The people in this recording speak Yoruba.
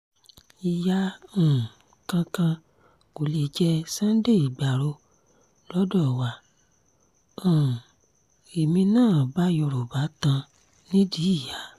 ìyá um kankan kò lè jẹ́ sunday igbárò lọ́dọ̀ wa um èmi náà bá yorùbá tan nídìí ìyá